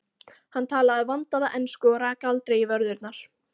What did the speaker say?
Hann talaði vandaða ensku og rak aldrei í vörðurnar.